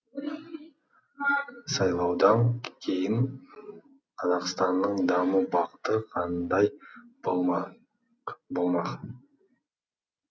сайлаудан кейін қазақстанның даму бағыты қандай болмақ